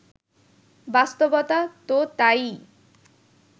বাস্তবতা তো তা-ই